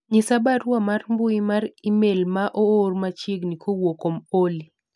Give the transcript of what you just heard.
nyis barua mar mbui mar email maoor machiegni kowuok kuom Olly